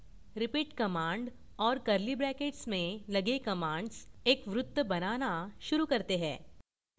repeat command और curly brackets में लगे commands एक वृत्त बनाना शुरू करते हैं